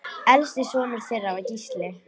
Elsti sonur þeirra var Gísli.